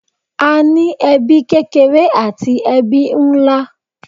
A ní ẹbí kékeré àti ẹbí nlá.